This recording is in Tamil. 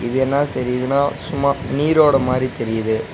இது என்னா தெரிதுன்னா சும்மா நீரோட மாரி தெரியிது.